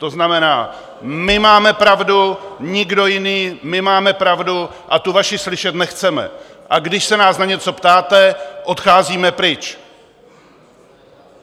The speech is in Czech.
To znamená: My máme pravdu, nikdo jiný, my máme pravdu a tu vaši slyšet nechceme, a když se nás na něco ptáte, odcházíme pryč.